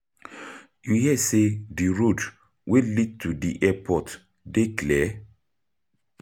You hear say di road wey lead to di airport dey clear?